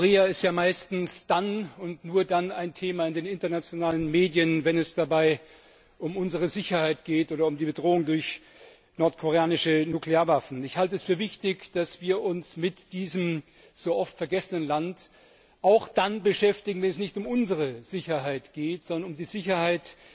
Nordkorea ist ja meistens dann und nur dann ein Thema in den internationalen Medien, wenn es dabei um unsere Sicherheit geht oder um die Bedrohung durch nordkoreanische Nuklearwaffen. Ich halte es für wichtig, dass wir uns mit diesem so oft vergessenen Land auch dann beschäftigen, wenn es nicht um unsere Sicherheit geht, sondern um die Sicherheit